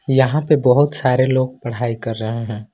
यहां पे बहुत सारे लोग पढ़ाई कर रहे हैं।